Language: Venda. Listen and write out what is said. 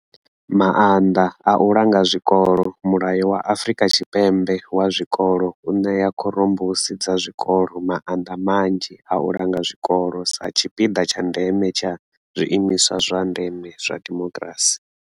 Maanḓa a u langa zwikolo mulayo wa Afrika Tshipembe wa zwikolo u ṋea khorombusi dza zwikolo maanḓa manzhi a u langa zwikolo sa tshipiḓa tsha ndeme tsha zwiimiswa zwa ndeme zwa dimokirasi.